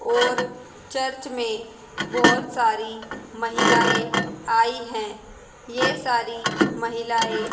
और चर्च में बहुत सारी महिलाएं आई हैं ये सारी महिलाएं--